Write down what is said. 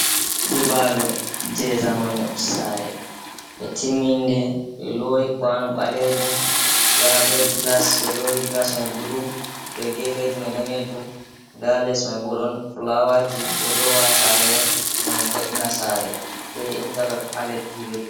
Nyiɓalo je zamanu sare ɓe timminde ɓe loyi kwano ɓalejum, nda be glas ɓe lowi glas man bulu be gefeji man danejum, nda les mai bo ɗon fulawaji ɓeɗo lowa ha sare on ngam vo'ina sare be intalog haleddi.